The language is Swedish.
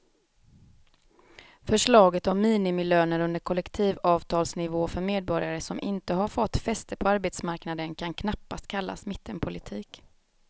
Förslaget om minimilöner under kollektivavtalsnivå för medborgare som inte har fått fäste på arbetsmarknaden kan knappast kallas mittenpolitik.